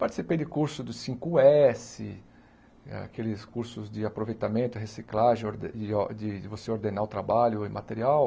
Participei de cursos do cinco ésse, aqueles cursos de aproveitamento, reciclagem, orde or de de você ordenar o trabalho e o material,